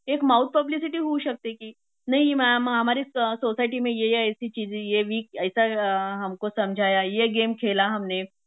एक mouth publicity होऊ शकते कि नहीं मॅम हमारे सोसायटीमे ये ये ऐसी चिझे ये वीक ऐसा हमको समझाया ये गेम खेला हमने